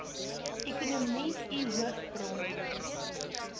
ekonomie u hoofbron